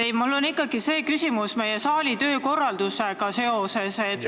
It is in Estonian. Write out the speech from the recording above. Ei, mul on ikkagi küsimus seoses meie saali töökorraldusega.